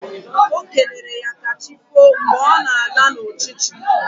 Okelere ya kachifo mgbe ọ na-ala na uchichi